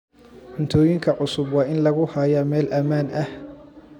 Cuntooyinka cusub waa in lagu hayaa meel ammaan ah.